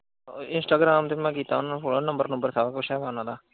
instagram ਤੇ ਕੀਤਾ ਮੈਂ ਉਨੂੰ follow ਨੰਬਰ ਨੁੰਬਰ ਸਭ ਕੁੱਝ ਹੈਗੇ ਉਨਾਂ ਦਾ।